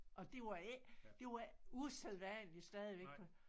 Og det var ikke det var usædvanlig stadigvæk at